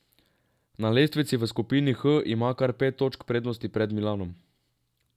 Na lestvici v skupini H ima kar pet točk prednosti pred Milanom.